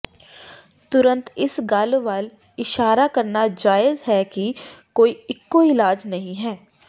ਤੁਰੰਤ ਇਸ ਗੱਲ ਵੱਲ ਇਸ਼ਾਰਾ ਕਰਨਾ ਜਾਇਜ਼ ਹੈ ਕਿ ਕੋਈ ਇਕੋ ਇਲਾਜ ਨਹੀਂ ਹੈ